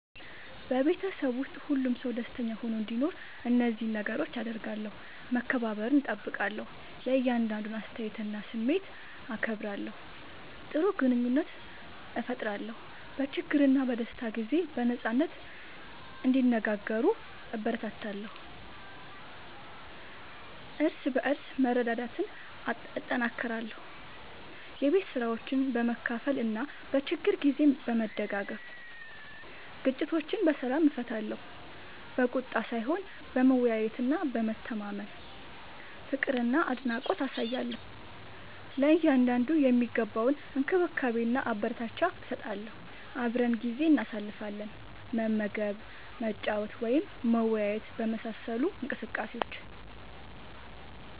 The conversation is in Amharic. በቤተሰብ ውስጥ ሁሉም ሰው ደስተኛ ሆኖ እንዲኖር እነዚህን ነገሮች አደርጋለሁ፦ መከባበርን እጠብቃለሁ – የእያንዳንዱን አስተያየትና ስሜት አከብራለሁ። ጥሩ ግንኙነት እፈጥራለሁ – በችግርና በደስታ ጊዜ በነጻነት እንዲነጋገሩ እበረታታለሁ። እርስ በርስ መረዳዳትን እጠናክራለሁ – የቤት ስራዎችን በመካፈል እና በችግር ጊዜ በመደጋገፍ። ግጭቶችን በሰላም እፈታለሁ – በቁጣ ሳይሆን በመወያየትና በመተማመን። ፍቅርና አድናቆት አሳያለሁ – ለእያንዳንዱ የሚገባውን እንክብካቤና አበረታቻ እሰጣለሁ። አብረን ጊዜ እናሳልፋለን – መመገብ፣ መጫወት ወይም መወያየት በመሳሰሉ እንቅስቃሴዎች።